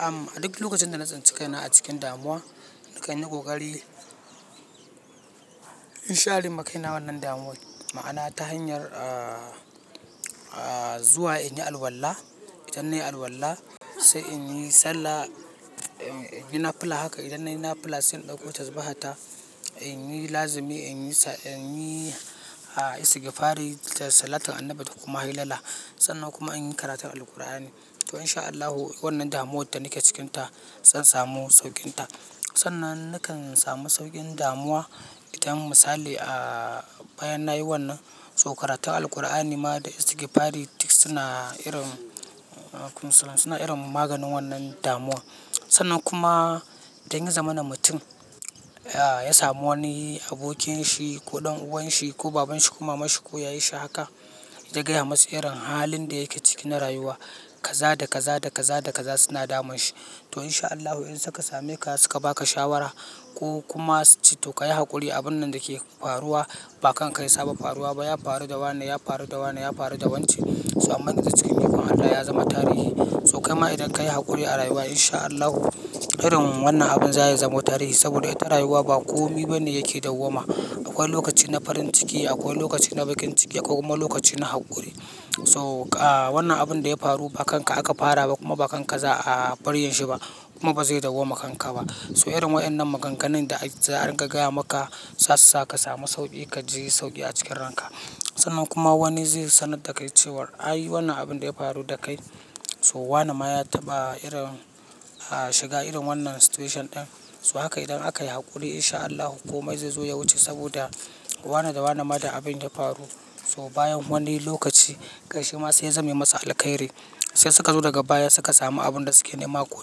Am, a duk lokacin da na tsanci kaina a cikin damuwa, nakan yi ƙoƙari in sharema kai na wannan damu'a. Ma'ana ta hanyar, aaah, zuwa in yi alwala, idan nayi alwala sai in yi sallah, in yi nafila. Haka idan nayi nafila sai in ɗauko tazbahata, in yi lazimi in yi, in yi istigfari da salatun annabi kuma hailala. Sannan kuma in yi karatun Alqur'ani. To in sha Allahu wannan damuwar da nake cikinta zan samu sauƙinta. Sannan nakan samu sauƙin damuwa idan misali a bayan nayi wannan, so karatun Alqur'ani ma da istigfari duk suna irin, suna irin maganin wannan damuwa. Sannan kuma idan ya zama na mutum, ya samu wani abokinshi ko ɗan uwanshi ko babanshi ko mamanshi ko yayarshi haka, ya gaya masu irin halin da yake ciki na rayuwa kaza da kaza da kaza da kaza suna damun shi. To in sha Allahu idan suka same ka suka baka shawara ko kuma suce to ka yi haƙuri abun nan dake faruwa ba kanka ya saba faruwa ba, ya faru da wannan, ya faru da wannan, ya faru da wance. So amman da cikn ikon Allah ya zama tarihi. So kaima idan kayi haƙuri a rayuwa in sha Allahu irin wannan abun za ya zama tarihi saboda ita rayuwa ba komi bane yake dawwama. Akwai lokaci na farin ciki, akwai lokaci na bakin ciki, akwai kuma lokaci na haƙuri. To wannan abun da ya faru ba kanka aka fara ba kuma ba kanka za a bar yinshi ba kuma ba zai dawwama kanka ba. So irin waɗannan maganganun da za'a ringa gaya maka za su sa ka samu sauƙi, ka ji sauƙi a cikin ranka. Sannan kuma wani zai sanar da kai cewar, ai wannan abin da ya faru da kai, so wannan ma ya taɓa irin ah, shiga irin wannan situation ɗin. So haka idan aka yi haƙuri, in sha Allahu komai zai zo ya wuce saboda, wannan da wannan ma da abin da ya faru. So bayan wani lokaci, ƙarshe ma sai ya zame masa alƙairi. Sai suka zo daga baya suka samu abun da suke nema ko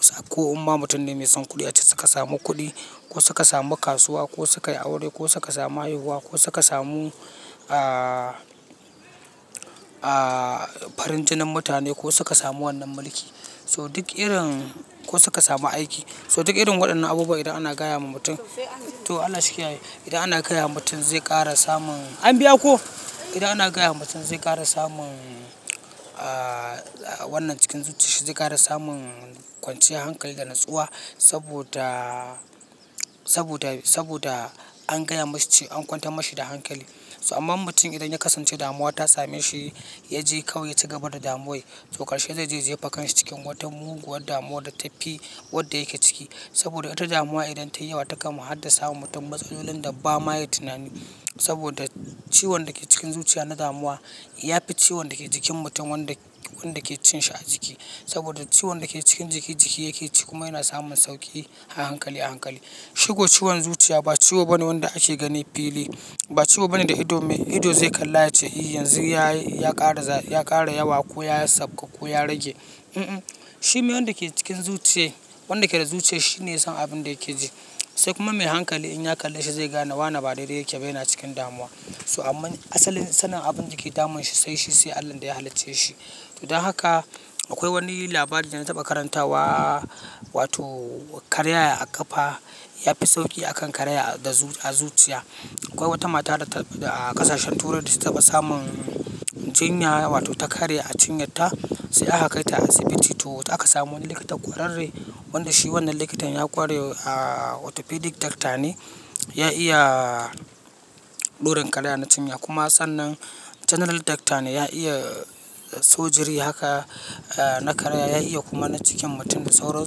sa, ko umma mutum ne mai son kuɗi ace suka samu kuɗi, ko suka samu kasuwa ko suka yi aure, ko suka samu haihuwa, ko suka samu, aaah, farin jinin mutane ko suka samu wannan mulki. So duk irin-- ko suka samu aiki. So duk irin waɗannan abubuwa idan ana gaya ma mutum, to Allah shi kiyaye. Idan ana gaya wa mutum zai ƙara samun an biya ko? Idan ana gaya wa mutum zai ƙara samun, aaah, wannan cikin zuciya shi zai ƙara samun kwanciyar hankali da natsuwa, saboda, saboda, saboda an gaya masa ce an kwantar mashi da hankali. So irin waɗannan maganganun da za'a ringa gaya maka za su sa ka samu sauƙi, ka ji sauƙi a cikin ranka. To ƙarshe zai je ya jefa kansa cikin watan mugun wadda damuwa ta tafi wadda yake ciki. Saboda ita damuwa idan tayi yawa takama har da sa wa mutum matsalolin da bama ya tunani. Saboda ciwon da ke cikin zuciya na damuwa, ya fi ciwon da ke jikin mutum wanda, wanda ke cin shi a jiki. Saboda ciwon da ke cikin jiki jiki yake ci kuma yana samun sauƙi, a hankali a hankali. Shigo ciwon zuciya ba ciwo bane wanda ake gani fili. Ba ciwo bane da ido mai ido zai kalla ya ce e yanzu ya ƙara, ya ƙara yawa ko ya sauƙa ko ya rage, unh unh. Shi me wanda ke cikin zuciyai, wanda ke da zuciya shine ya san abin da yake ji. Sai kuma mai hankali in ya kalle shi zai ga nawa na ba daidai yake bayyana cikin damuwa. To amman asalin sanin abun da ke damun shi, sai shi, sai Allahn da ya halicce shi. To don haka akwai wani labari da na taɓa karantawa, wato karaya a ƙafa ya fi sauƙi akan karaya da zu, a zuciya. Akwai wata mata da a ƙasashen Turai da ta taɓa samun jinya wato ta karye a cinyar ta, sai aka kai ta asibiti. To aka samu wani likita ƙwararre, wanda shi wannan likitan ya ƙware, aaah, orthopedic doctor ne. Ya iya ɗorin karaya na cinya, kuma sannan general Doctor ne ya iya Sugery haka, na karaya ya iya kuma na cikin mutum da sauran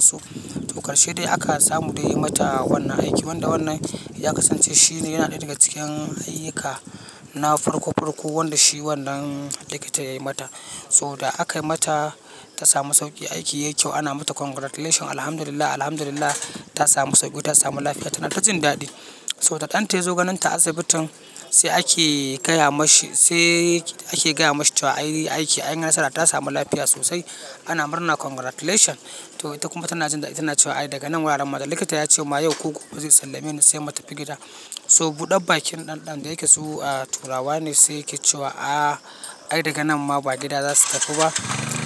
su to ƙarshe dai aka samu dai yayi mata wannan aiki, wanda wannan ya kasance shine yana ɗaya daga cikin ayyuka na farko farko wanda shi wannan likita ya yi mata. So da aka yi mata ta samu sauƙin aiki yayi kyau ana mata congratulation Alhamdulillah, alhamdulillah ta samu sauƙi ta samu lafiya tana ta jin daɗi. To da ɗanta yazo ganin ta asibitin, sai ake gaya mashi, sai ake gaya mashi cewa ai aiki anyi nasara ta samu lafiya sosai ana murna congratulation. To ita kuma tana jin daɗi tana cewa ai daga nan wuraren likita ya ce ma yau ko gobe zai sallame ni, sai mu tafi gida. So buɗa bakin ɗan ɗan, da yake su a Turawa ne, sai yake cewa aa, ai daga nan ma ba gida za su tafi ba,